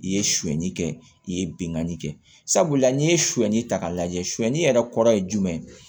I ye suɲɛnni kɛ i ye bingani kɛ sabula n'i ye suɲɛni ta k'a lajɛ suyani yɛrɛ kɔrɔ ye jumɛn ye